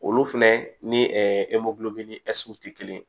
Olu fɛnɛ ni ni tɛ kelen ye